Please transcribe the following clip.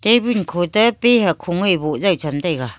tabil khotepi hakho ngoiboh jaicham taiga.